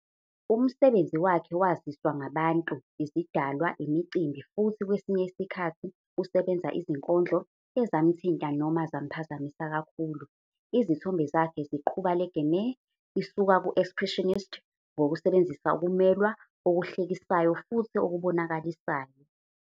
Umsebenzi wakhe waziswa ngabantu, izidalwa, imicimbi futhi kwesinye isikhathi usebenza izinkondlo, ezamthinta noma zamphazamisa kakhulu. Izithombe zakhe ziqhuba le gamut isuka ku-expressionist ngokusebenzisa ukumelwa, okuhlekisayo futhi okubonakalisayo.